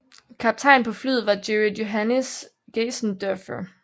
Kaptajn på flyet var Gerrit Johannis Geysendorffer